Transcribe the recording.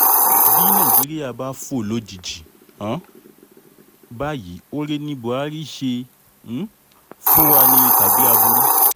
bí nàìjíríà bá fò lójijì um báyìí oore ni buhari ṣe um fún wa ni tàbí aburú